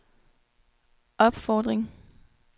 opfordring